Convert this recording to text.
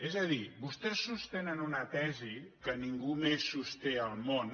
és a dir vostès sostenen una tesi que ningú més sosté al món